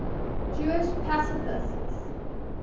jewish pacifists